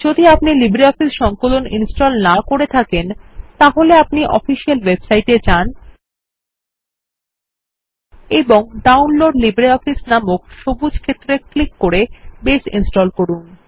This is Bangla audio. যদি আপনি লিব্রিঅফিস সংকলন ইনস্টল না করে থাকেন তাহলে আপনি অফিসিয়াল ওয়েবসাইট এ যান এবং ডাউনলোড লিব্রিঅফিস নামের সবুজ ক্ষেত্রে ক্লিক করে বেস ইনস্টল করুন